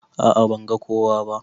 A'a ban ga kowa ba.